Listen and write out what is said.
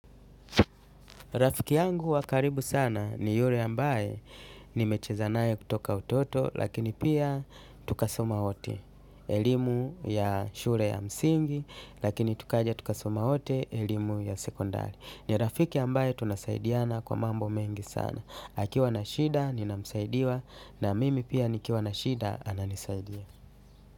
Rafiki yangu wa karibu sana ni yule ambaye nimecheza naye kutoka utoto lakini pia tukasoma wote. Elimu ya shule ya msingi lakini tukaja tukasoma wote elimu ya sekondari. Ni rafiki ambaye tunasaidiana kwa mambo mengi sana. Akiwa na shida ninamsaidia na mimi pia nikiwa na shida ananisaidia.